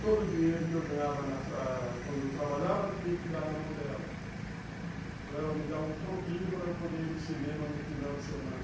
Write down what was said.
Todo o dinheiro que eu ganhava nessa quando trabalhava tinha que dar na mão dela, para ela me dar um troquinho para eu poder ir ao cinema no final de semana.